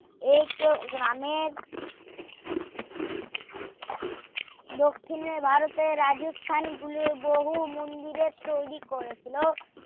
এই কেউ গ্রামের দক্ষিণে ভারতের রাজস্থান গুলোর বহু মন্দিরের তৈরী করেছিল